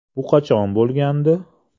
Bu qachon bo‘lgandi?